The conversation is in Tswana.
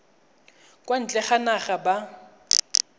kwa ntle ga naga ba